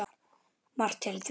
Margt til í því.